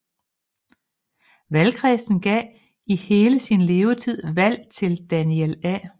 Valgkredsen gav i hele sin levetid valg til Daniel A